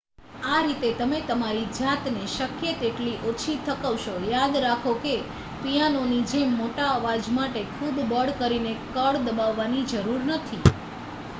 આ રીતે તમે તમારી જાતને શક્ય તેટલી ઓછી થકવશો યાદ રાખો કે પિયાનોની જેમ મોટા અવાજ માટે ખૂબ બળ કરીને કળ દબાવવાની જરૂર નથી